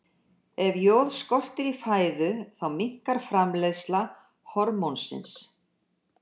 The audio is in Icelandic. Ef joð skortir í fæðu þá minnkar framleiðsla hormónsins.